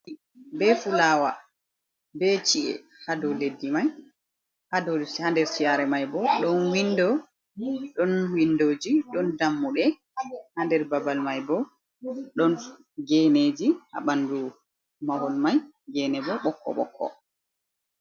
Leddi be fulawa be chi’e haa dow leddi mai. Haa nder saare mai bo, ɗon windoji, ɗon dammuɗe. Haa nder babal mai bo, ɗon geeneeji haa ɓandu mahol mai. Geene bo, bokko-bokko.